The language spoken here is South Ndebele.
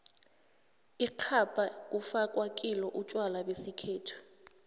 ixhabha kufakwa kilo utjwalo besikhethu